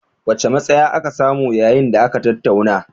Wacce matsaya aka samu yayin da aka tattauna?